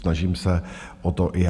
Snažím se o to i já.